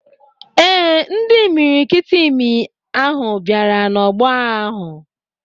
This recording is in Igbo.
Ee, ndị imiriikiti imi ahụ bịara n'ọgbọ agha ahụ.